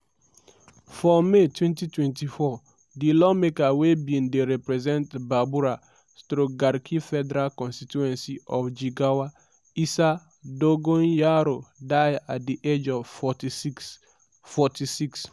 for may 2024 di lawmaker wey bin dey represent babura/garki federal constituency of jigawa state isa dogonyaro die at di age of 46. 46.